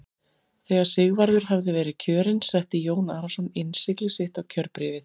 Þegar Sigvarður hafði verið kjörinn setti Jón Arason innsigli sitt á kjörbréfið.